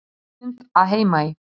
Loftmynd af Heimaey.